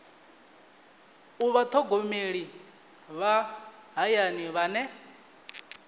u vhathogomeli vha hayani vhane